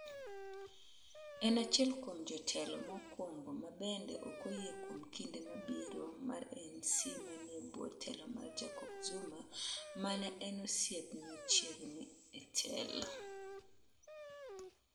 En achiel kuom jotelo mokwongo ma bende ok oyie kuom kinde mabiro mar ANC manie bwo telo mar Jacob Zuma ma ne en osiepne machiegni e telo.